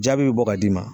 Jaabi bɛ bɔ ka d'i ma